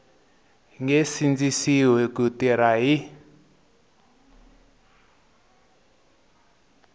nge sindzisiwi ku tirha hi